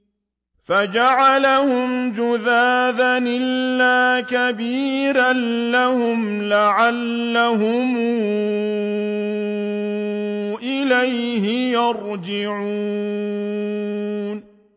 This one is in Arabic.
فَجَعَلَهُمْ جُذَاذًا إِلَّا كَبِيرًا لَّهُمْ لَعَلَّهُمْ إِلَيْهِ يَرْجِعُونَ